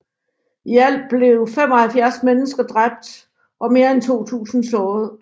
I alt blev 75 mennesker dræbt og mere end 200 såret